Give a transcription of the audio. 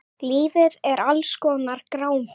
Lífið er alls konar grámi.